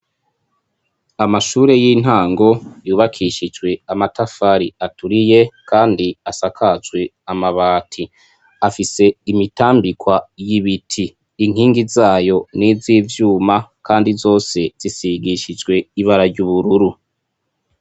Amashure y'intango yubakishijwe amatafari aturiye Kandi asakajwe amabati, afise imitambikwa y'ibiti, inkingi zayo ni iz'ivyuma kandi zose zisigishijwe ibara ry'ubururu.